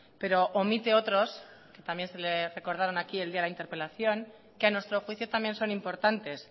pero omite otros que también se le recordaron aquí el día de la interpelación que a nuestro juicio también son importantes